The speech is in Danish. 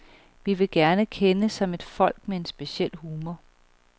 Vi vil gerne kendes som et folk med en speciel humor.